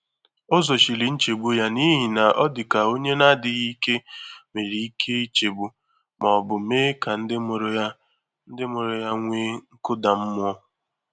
Ọ́ zòchírí nchégbu yá n’íhí nà ọ dị́ kà ónyé nà-ádị́ghị́ íké nwéré íké ìchégbú mà ọ bụ́ mèé kà ndị́ mụ́rụ̀ yá nwèé mụ́rụ̀ yá nwèé nkụ́dà mmụ́ọ.